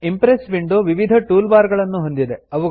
Impress window ವಿವಿಧ tool bar ಗಳನ್ನುಹೊಂದಿದೆ